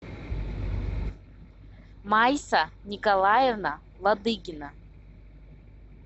майса николаевна ладыгина